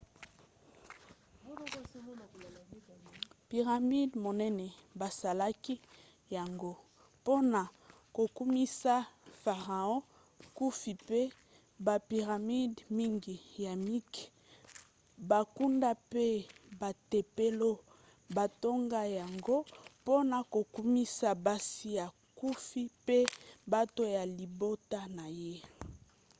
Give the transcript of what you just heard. piramide monene basalaki yango mpona kokumisa farao khufu mpe bapiramide mingi ya mike bankunda mpe batempelo batonga yango mpona kokumisa basi ya khufu mpe bato ya libota na ye